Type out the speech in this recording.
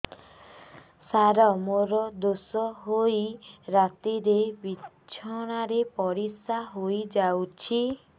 ସାର ମୋର ଦୋଷ ହୋଇ ରାତିରେ ବିଛଣାରେ ପରିସ୍ରା ହୋଇ ଯାଉଛି